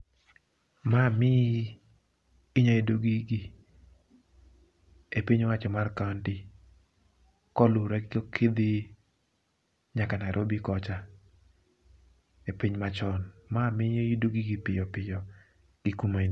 Ma miyi inyayudo gigi e piny owacho mar kaonti, koluwore gi kidhi nyaka Nairobi kocha e piny machon. Ma miyo iyudo gigi piyo piyo gi kuma in.